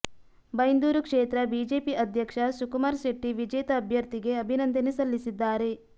ಬೈಂದೂರು ಕ್ಷೇತ್ರ ಬಿಜೆಪಿ ಅಧ್ಯಕ್ಷ ಸುಕುಮಾರ ಶೆಟ್ಟಿ ವಿಜೇತ ಅಭ್ಯರ್ಥಿಗೆ ಅಭಿನಂದನೆ ಸಲ್ಲಿಸಿದ್ದಾರೆ